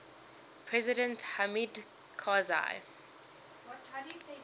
president hamid karzai